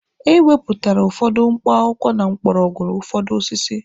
Ewepụtara ụfọdụ mkpọakwụkwọ na mgbọrọgwụ ụfọdụ osisi.